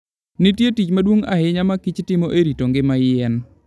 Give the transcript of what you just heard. Nitie tich maduong' ahinya ma kich timo e rito ngima yien.